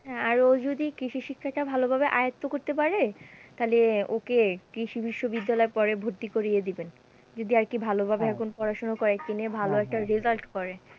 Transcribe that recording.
হ্যাঁ, আর ও যদি কৃষি শিক্ষাটা ভালোভাবে আয়ত্ত করতে পারে, তাহলে ওকে কৃষি বিশ্ববিদ্যালয়ে পরে ভর্তি করিয়ে দিবেন যদি আর কি ভালোভাবে এখন পড়াশোনা কয়েকদিনে ভালো একটা result করে।